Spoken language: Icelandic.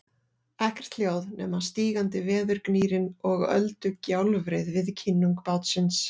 Ekkert hljóð nema stígandi veðurgnýrinn og öldugjálfrið við kinnung bátsins.